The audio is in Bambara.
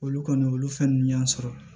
Olu kɔni olu fɛn ninnu y'an sɔrɔ